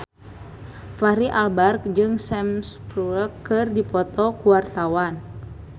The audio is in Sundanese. Fachri Albar jeung Sam Spruell keur dipoto ku wartawan